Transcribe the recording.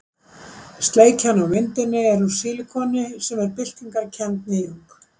Sleikjan á myndinni er úr sílikoni sem er byltingarkennd nýjung.